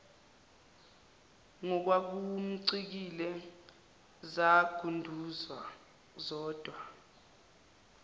ngokwakumcikile zangunduza zodwa